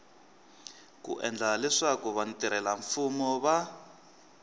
ku endla leswaku vatirhelamfumo va